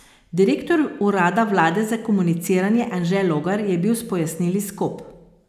Direktor urada vlade za komuniciranje Anže Logar je bil s pojasnili skop.